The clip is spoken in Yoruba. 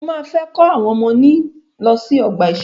Mọ máa fẹ́ kó àwọn ọmọ mí lọ sí ọgbà ìṣẹ̀rẹ́.